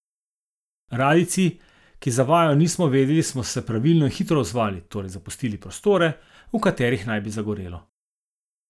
Radijci, ki za vajo nismo vedeli, smo se pravilno in hitro odzvali, torej zapustili prostore, v katerih naj bi zagorelo.